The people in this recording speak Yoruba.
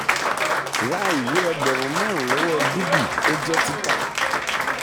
ra ìwé ẹgbẹ̀rún márùn-ún lọ́wọ́ dubey ó jẹ́ tita.